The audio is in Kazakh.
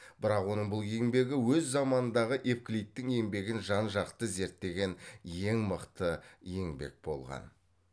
бірақ оның бұл еңбегі өз заманындағы евклидтің еңбегін жан жақты зерттеген ең мықты еңбек болған